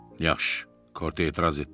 Yaxşı, Korte etiraz etdi.